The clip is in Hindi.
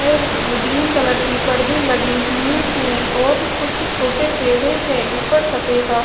ग्रीन कलर के पर्दे लगे हुए है और कुछ छोटे पेडे है उपर सफेद अ--